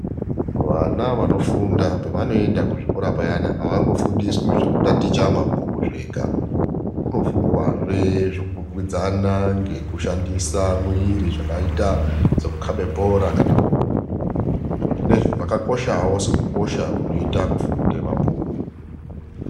Vana vanofunda pavanoenda kuzvikora payani avangofundiswi zvekutaticha mabhuku zvega. Kunofundwazve zvekukwikwidzana ngekushandisa mwiri zvakaita sekukhabe bhora kana kurumba. Zviro zvinezvi zvakakoshawo sekukosha kunoita kufunde mabhuku.